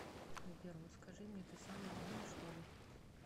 сбер вот скажи мне ты самый умный что ли